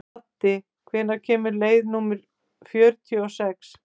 Addi, hvenær kemur leið númer fjörutíu og sex?